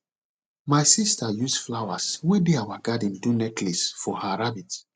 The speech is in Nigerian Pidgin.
my sister use flowers wey dey our garden do necklace for her rabbit